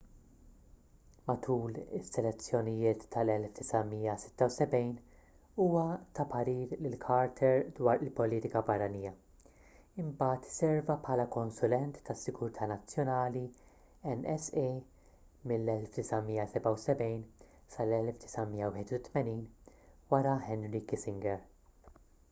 matul lis-selezzjonijiet tal-1976 huwa ta parir lil carter dwar il-politika barranija imbagħad serva bħala konsulent tas-sigurtà nazzjonali nsa mill-1977 sal-1981 wara henry kissinger